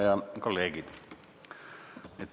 Head kolleegid!